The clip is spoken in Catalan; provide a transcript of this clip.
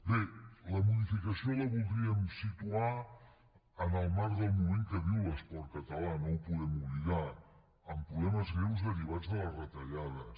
bé la modificació la voldríem situar en el marc del moment que viu l’esport català no ho podem oblidar amb problemes greus derivats de les retallades